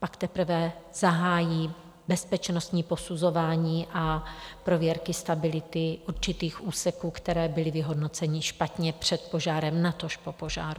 Pak teprve zahájí bezpečnostní posuzování a prověrky stability určitých úseků, které byly vyhodnoceny špatně před požárem, natož po požáru.